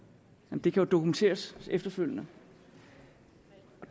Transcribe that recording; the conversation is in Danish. det kan jo dokumenteres efterfølgende